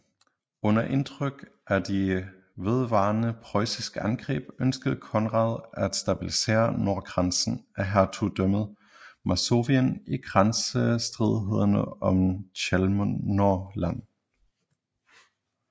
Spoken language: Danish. Under indtryk af de vedvarende preussiske angreb ønskede Konrad at stabilisrre nordgrænsen af Hertugdømmet Masovien i grænsestridighederne om Chełmno Land